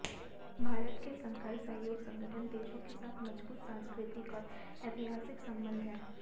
भारत के शंघाई सहयोग संगठन देशों के साथ मजबूत सांस्कृतिक और ऐतिहासिक संबंध हैं